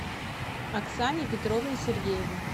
оксане петровне сергеевой